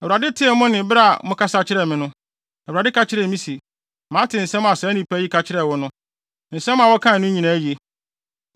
Awurade tee mo nne bere a mokasa kyerɛɛ me no, Awurade ka kyerɛɛ me se, “Mate nsɛm a saa nnipa yi ka kyerɛɛ wo no. Nsɛm a wɔkaa no nyinaa ye.